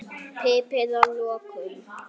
Piprið að lokum.